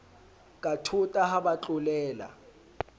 ka thota ha ba tlolela